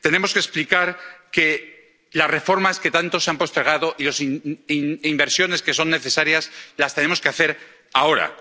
Tenemos que explicar que las reformas que tanto se han postergado y las inversiones que son necesarias las tenemos que hacer ahora.